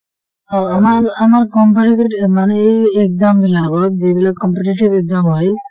আমাৰ আমাৰ competitive মানে এই exam বিলাক অলপ যিবিলাক competitive exam হয়